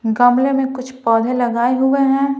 गमले में कुछ पौधे लगाए हुए हैं।